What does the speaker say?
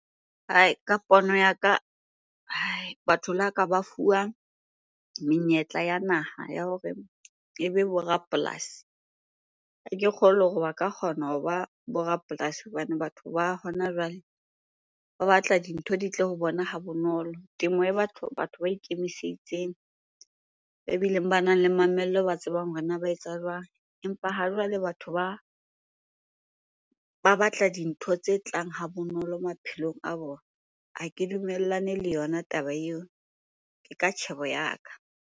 Ka pono ya ka batho la ka ba fuwa menyetla ya naha ya hore ebe bo rapolasi. Ha ke kgolwe hore ba ka kgona hoba bo rapolasi hobane batho ba hona jwale ba batla dintho di tle ho bona ha bonolo. Temo e batho batho ba ikemiseditseng, ebileng banang le mamello, ba tsebang hore na ba etsa jwang? Empa ha jwale batho ba batla dintho tse tlang ha bonolo maphelong a bona. Ha ke dumellane le yona taba eo, ke ka tjhebo ya ka.